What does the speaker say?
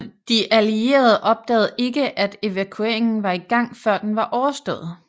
De allierede opdagede ikke at evakueringen var i gang før den var overstået